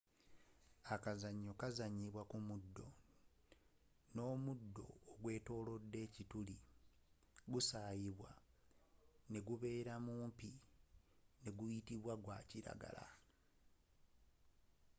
akazanyo kazanyibwa ku muddo n'omuddo ogwetolodde ekituli gusayibwa negubeera mumpi neguyitibwa gwakilagala